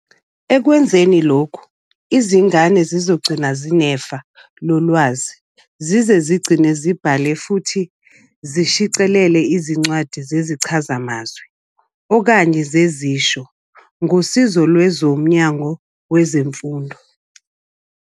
Ekwenzeni lokhu, izingane zizokhula zinefa lolwazi, zize zigcine zibhale futhi zishicilele izincwadi zezichazamazwi okanye zezisho ngosizo lwezo Mnyango wezeMfundo.